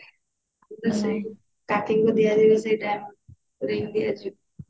ହଁ ଟା ସେଇ starting ରୁ ଦିଆଯାଏ ସେଇଟା ring ଦିଆଯିବ